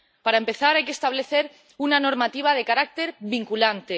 Para empezar hay que establecer una normativa de carácter vinculante.